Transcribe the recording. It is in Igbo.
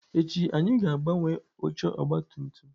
Echi anyị ga-agbanwe oche ọgabtumtum.